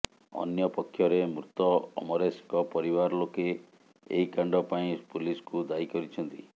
ଅନ୍ୟ ପକ୍ଷରେ ମୃତ ଅମରେଶଙ୍କ ପରିବାର ଲୋକେ ଏହି କାଣ୍ଡ ପାଇଁ ପୁଲିସକୁ ଦାୟୀ କରିଛନ୍ତି